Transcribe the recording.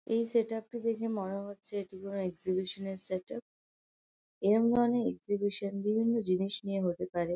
এই set up টা দেখে মনে হচ্ছে যে এটি কোন এক্সিবিশন এর সেট আপ এরকম ধরনের এক্সিবিশন বিভিন্ন জিনিস নিয়ে হতে পারে।